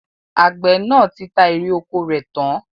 Àgbẹ̀ náà ti ta èrè ọkọ rẹ̀ tán